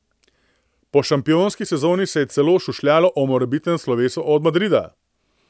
Po šampionski sezoni se je celo šušljalo o morebitnem slovesu od Madrida.